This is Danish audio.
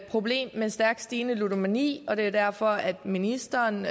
problem med stærkt stigende ludomani og det er derfor at ministeren